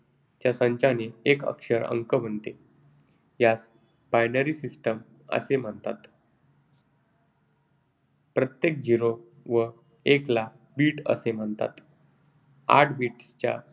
च्या संचाने एक अक्षर अंक बनते. यास binary system असे म्हणतात. प्रत्येक zero व एकला bit असे म्हणतात. आठ bits